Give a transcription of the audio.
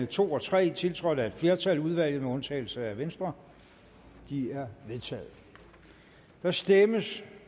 to og tre tiltrådt af et flertal i udvalget med undtagelse af venstre de er vedtaget der stemmes